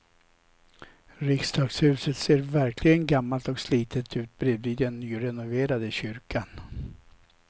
Riksdagshuset ser verkligen gammalt och slitet ut bredvid den nyrenoverade kyrkan.